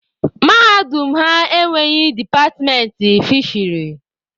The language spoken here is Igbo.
Mahadum ha enweghị departmentị fisheri.